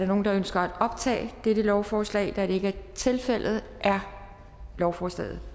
nogen der ønsker at optage dette lovforslag da det ikke er tilfældet er lovforslaget